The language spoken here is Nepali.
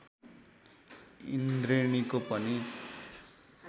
इन्द्रेणीको पनि